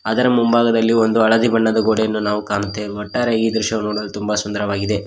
ಅದರ ಮುಂಭಾಗದಲ್ಲಿ ಒಂದು ಹಳದಿ ಬಣ್ಣದ ಗೋಡೆಯನ್ನು ಕಾಣುತ್ತೇವೆ ಒಟ್ಟಾರೆ ಈ ದೃಶ್ಯ ನೋಡಲು ತುಂಬ ಸುಂದರವಾಗಿದೆ.